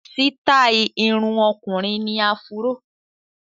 Sítáì irun ọkùnrin ni áfúró.